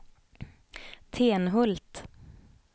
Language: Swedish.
Tenhult